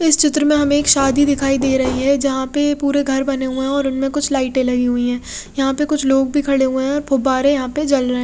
इस चित्र में हमे एक शादी दिखाई दे रही है जहा पे पुरे घर बने हुए है और उनमे कुछ लाइटे लगी हुई है यहाँ पे कुछ लोग भी खड़े हुए है और फुब्बारे यहाँ पे जल रहे है।